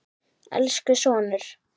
Elsku sonur.